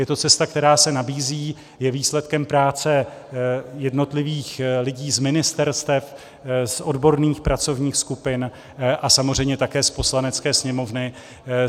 Je to cesta, která se nabízí, je výsledkem práce jednotlivých lidí z ministerstev, z odborných pracovních skupin a samozřejmě také z Poslanecké sněmovny.